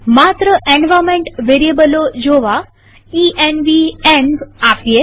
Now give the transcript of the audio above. માત્ર એન્વાર્નમેન્ટ વેરીએબલો જોવા આદેશ ઇએનવી આપીએ